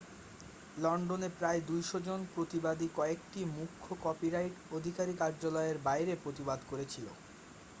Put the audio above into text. লন্ডনে প্রায় 200 জন প্রতিবাদী কয়েকটি মুখ্য কপিরাইট অধিকারী কার্যালয়ের বাইরে প্রতিবাদ করেছিল